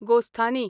गोस्थानी